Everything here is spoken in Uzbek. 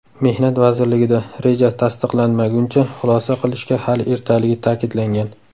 Mehnat vazirligida reja tasdiqlanmaguncha xulosa qilishga hali ertaligi ta’kidlangan.